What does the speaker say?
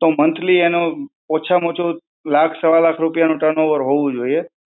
તો મંથલી અનું ઓછામાં ઓછું લાખ સવા લાખ રૂપિયાનો turnover હોવું જોઈએ.